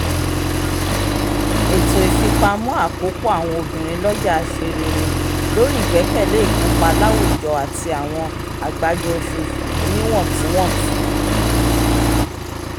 ètò ìfipamọ́ àkópọ̀ àwọn obìnrin lọ́jà ṣe réré lórí ìgbẹ́kẹ̀lé ìkópa láwùjọ àti àwọn àgbájọ oṣooṣù oníwọ̀ntúnwọ̀sì